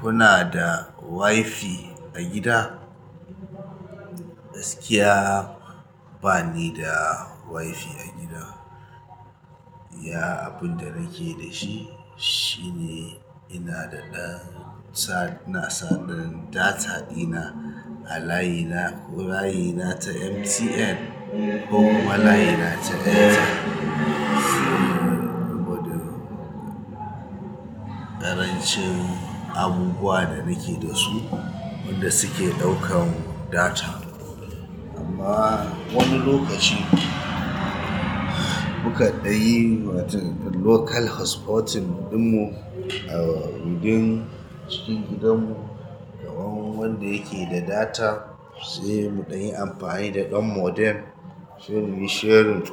Kuna da wifi a gida? Gaskiya bani da wifi a gida. Iya abin da nake da shi shine ina da ɗan sa na sa ɗan data dina a layi na ko layi na ta MTN ko kuma layi na ta Airtel. Saboda ƙarancin abubuwa da nake da su wanda suke ɗaukan data. Amma wani lokaci mu kaɗai yi wata local hotspot ɗin mu a wurin cikin gidan mu, daban wanda yake da data sai mu ɗa yi amfani da ɗan modem. Sai muyi sharing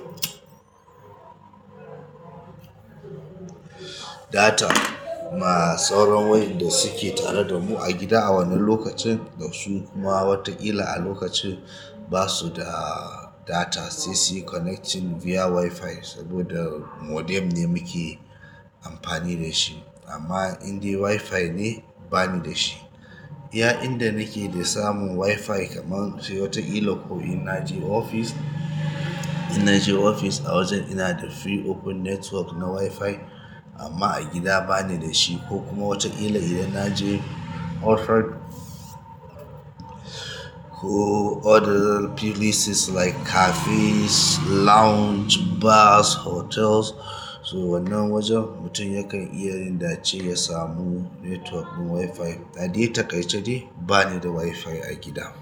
data ma sauran waƴanda suke tare da mu a gida a wannan lokacin. Da su kuma watakila a lokacin ba su da data sai suyi connecting via wifi saboda modem ne muke amfani da shi. Amma indai wifi ne bani da shi. Iya inda nake da samu wifi kaman sai wataƙila ko ina je ofis, ina je ofis a wajen ina da free open network na wifi. Amma a gida bani da shi ko kuma wataƙila idan naje hotrod ko other places like cafes, lounge, bars, hotels. To wannan wajen mutum yakan iya yin da ce ya samu network ɗin wifi. Adai taƙaice dai ba ni da wifi a gida.